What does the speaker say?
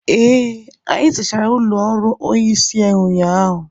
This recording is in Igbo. ee, anyị zachara ụlọ ọrụ onye isi ụnyahụ